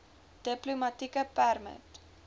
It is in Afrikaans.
diplomatieke permit